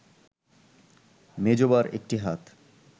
মেজবার একটি হাত